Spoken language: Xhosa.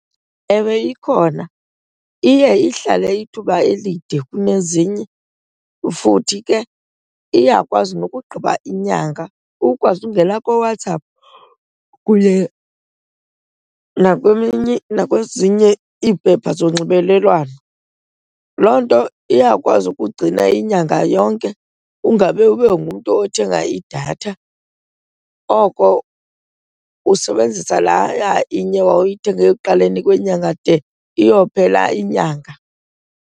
Ewe, ikhona. Iye ihlale ithuba elide kunezinye futhi ke iyakwazi nokugqiba inyanga, ukwazi ukungena kooWhatsApp kuye nakwezinye iimpepha zonxibelelwano. Loo nto iyakwazi ukugcina inyanga yonke ungabe ube ngumntu othenga idatha oko, usebenzisa leya inye wawuyithenge ekuqaleni kwenyanga de iyophela inyanga.